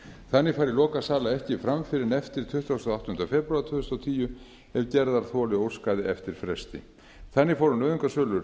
þannig færi lokasala ekki fram fyrr en eftir tuttugustu og áttunda febrúar tvö þúsund og tíu ef gerðarþoli óskaði eftir fresti þannig fóru nauðungarsölur